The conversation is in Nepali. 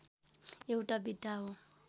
एउटा विधा हो